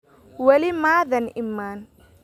Wali ma aadan iman